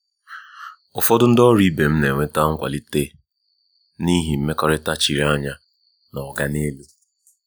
ụfọdụ ndị ọrụ ibe m na-enweta nkwalite n'ihi mmekọrịta chiri anya na “oga n'elu.”